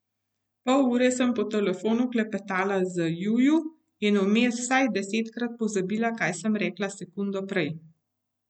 Pol ure sem po telefonu klepetala z Juju in vmes vsaj desetkrat pozabila, kaj sem rekla sekundo prej.